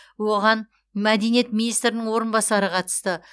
оған мәдениет министрінің орынбасары қатысты